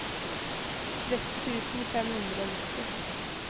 tretti tusen fem hundre og nitti